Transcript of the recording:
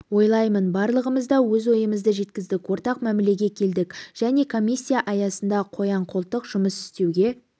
ойлаймын барлығымыз да өз ойымызды жеткіздік ортақ мәмілеге келдік және комиссия аясында қоян-қолтық жұмыс істеуге